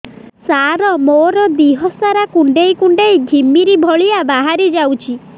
ସାର ମୋର ଦିହ ସାରା କୁଣ୍ଡେଇ କୁଣ୍ଡେଇ ଘିମିରି ଭଳିଆ ବାହାରି ଯାଉଛି